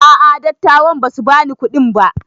A'a dattawan basu bani kuɗi ba